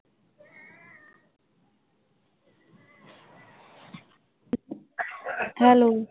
Hello.